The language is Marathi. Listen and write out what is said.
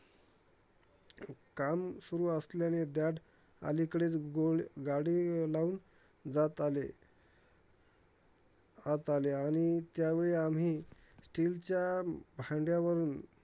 काम सुरु असल्याने dad अलीकडेच गोळ गाडी लावून जात आले. आत आले. आणि त्यावेळी आम्ही still च्या भांडयावरून